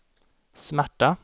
smärta